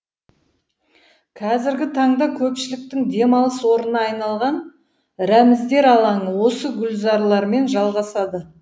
қазіргі таңда көпшіліктің демалыс орнына айналған рәміздер алаңы осы гүлзарлармен жалғасады